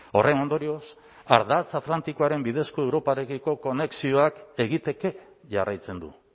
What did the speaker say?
horren ondorioz ardatz atlantikoaren bidezko europarekiko konexioa egiteke jarraitzen du